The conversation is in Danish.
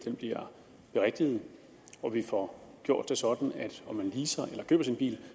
bliver berigtiget og vi får gjort det sådan at om man leaser eller køber sin bil